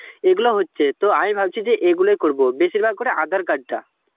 এগুলো হচ্ছে তো আমি ভাবছি যে এগুলোই করব বেশিরভাগ করে aadhar card টা.